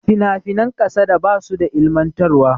finafinan kasada ba su da ilimantarwa